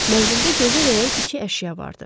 Mənzildə gözə dəyən iki əşya vardı.